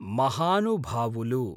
महानुभावुलु